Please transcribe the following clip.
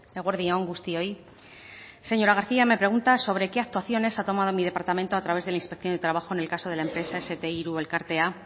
eguerdi on guztioi señora garcía me pregunta sobre qué actuaciones ha tomado mi departamento a través de la inspección de trabajo en el caso de la empresa ese te tres elkartea